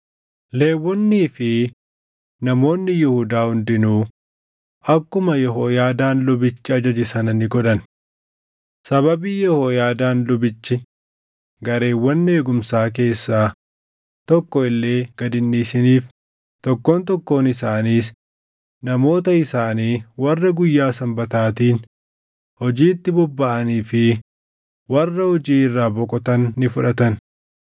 Lewwonnii fi namoonni Yihuudaa hundinuu akkuma Yehooyaadaan lubichi ajaje sana ni godhan. Sababii Yehooyaadaan lubichi gareewwan eegumsaa keessaa tokko illee gad hin dhiisiniif tokkoon tokkoon isaaniis namoota isaanii warra guyyaa Sanbataatiin hojiitti bobbaʼanii fi warra hojii irraa boqotan ni fudhatan.